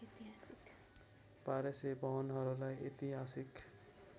१२०० भवनहरूलाई ऐतिहासिक